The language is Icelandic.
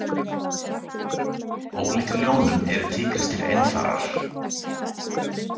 Ólíkt ljónum eru tígrisdýr einfarar.